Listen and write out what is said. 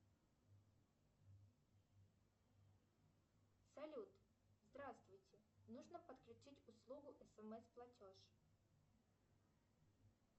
салют здравствуйте нужно подключить услугу смс платеж